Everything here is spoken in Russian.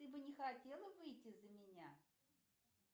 ты бы не хотела выйти за меня